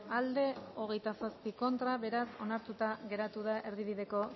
aldekoa veintisiete contra beraz onartuta geratu da erdibideko